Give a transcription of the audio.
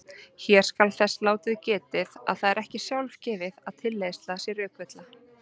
Hér skal þess látið getið að það er ekki sjálfgefið að tilleiðsla sé rökvilla.